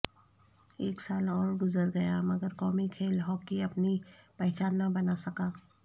ایک سال اور گزر گیا مگر قومی کھیل ہاکی اپنی پہچان نہ بنا سکا